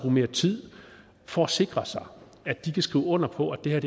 mere tid for at sikre sig at de kan skrive under på at det her